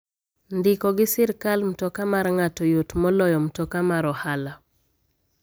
Ndiko gi sirkal mtoka mar ng'ato yot moloyo mtoka mar ohala.